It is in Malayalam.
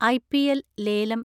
ഐ.പി.എൽ ലേലം